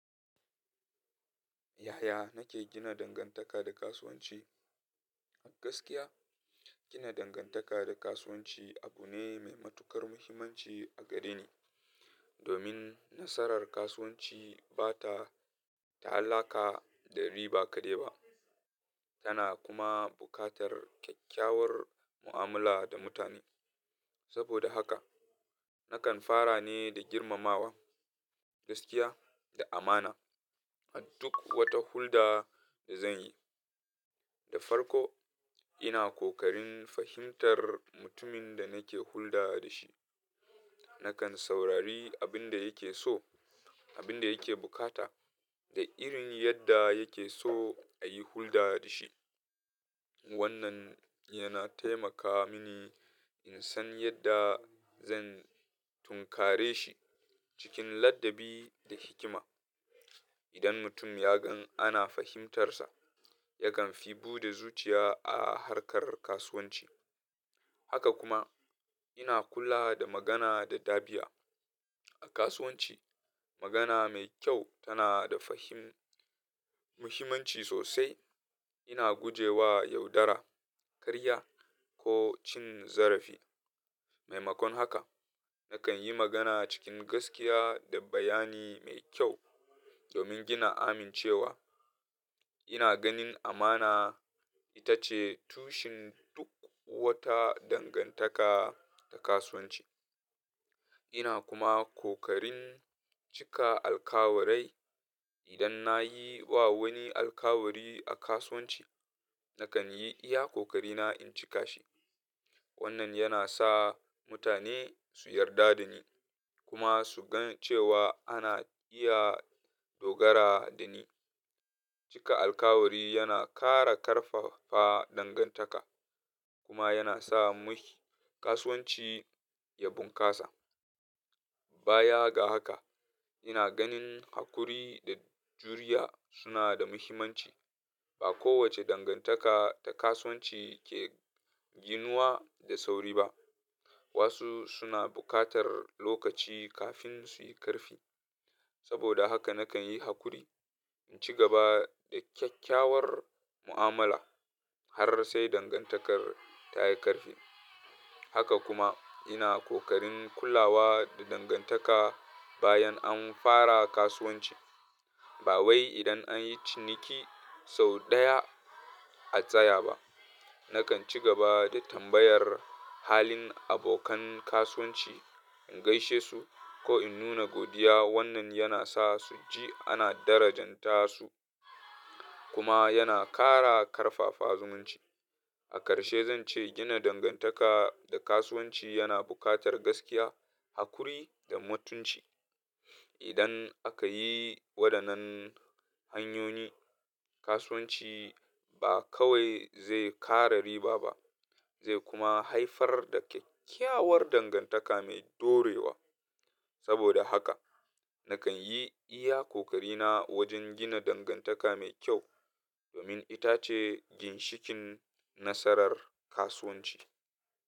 Yaya nake gina dangantaka da kasuwanci? A gaskiya, gina dangantaka da kasuwanci abu ne mai matuƙar muhimmanci a gare ni. Domin nasarar kasuwanci ba ta ta'allaka da riba kaɗai ba, tana kuma buƙatar kyakkyawar mu'amala da mutane. Saboda haka, nakan fara ne da girmamawa, gaskiya, da amana a duk wata hulɗa da zan yi. Da farko, ina kokarin fahimtar mutumin da nake hulɗa da shi. Nakan saurari abin da yake so, abin da yake bukata, da irin yadda yake so a yi hulɗa da shi. Wannan yana taimaka mini in san yadda zan tunkare shi cikin ladabi da hikima. Idan mutum ya gan ana fahimtarsa, yakan fi buɗe zuciya a harkar kasuwanci. Haka kuma, ina kula da magana da dabia. A kasuwanci, magana mai kyau tana da fa him-- muhimmanci sosai. Ina guje wa yaudara, karya, ko cin zarafi. Mai makon haka, nakan yi magana cikin gaskiya da bayani mai kyau domin gina amincewa. Ina ganin amana ita ce tushen duk wata dangantaka ta kasuwanci. Ina kuma kokarin cika alkawarai. Idan na yi wa wani alkawari a kasuwanci, nakan yi iya kokarina in cika shi. Wannan yana sa mutane su yarda da ni kuma su gan cewa ana iya dogara da ni. Cika alkawari yana ƙara ƙarfafa dangantaka kuma yana sa muhi-- kasuwanci ya bunƙasa. Bayaga haka, ina ganin haƙuri da juriya suna da muhimmanci. Ba kowace dangantaka ta kasuwanci ke ginuwa da sauri ba. Wasu suna buƙatar lokaci kafin su yi ƙarfi. Saboda haka nakan yi haƙuri, in ci gaba da kyakkyawar mu'amala har sai dangantakar ta yi ƙarfi. Haka kuma, ina kokarin kulawa da dangantaka bayan an fara kasuwanci. Ba wai idan an yi ciniki sau ɗaya, a tsaya ba. Nakan ci gaba da tambayar halin abokan kasuwanci, in gaishe su ko in nuna godiya. Wannan yana sa su ji ana darajanta su kuma yana ƙara ƙarfafa zumunci. A ƙarshe zan ce gina dangantaka da kasuwanci yana buƙatar gaskiya, haƙuri, da mutunci. Idan aka yi waɗannan hanyoyi, kasuwanci ba kawai zai ƙare riba ba zai kuma haifar da kyakkyawar dangartaka mai dorewa. Saboda haka, nakan yi iya kokarina wajen gina dangantaka mai kyau domin ita ce ginshikin nasarar kasuwanci.